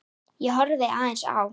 Ég horfði aðeins á